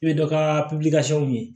I bɛ dɔ ka ɲini